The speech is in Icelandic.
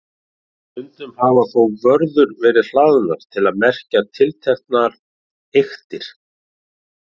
Stundum hafa þó vörður verið hlaðnar til að merkja tilteknar eyktir.